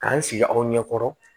K'an sigi aw ɲɛ kɔrɔ